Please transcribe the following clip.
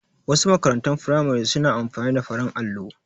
Wasu makarantun firamare su na amfani da farin allo